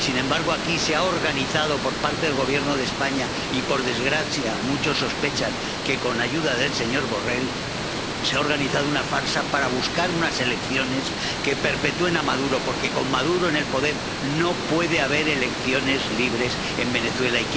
Y, sin embargo, aquí se ha organizado, por parte del Gobierno de España y, por desgracia, muchos sospechan que con ayuda del señor Borrell, una farsa para buscar unas elecciones que perpetúen a Maduro, porque con Maduro en el poder no puede haber elecciones libres en Venezuela.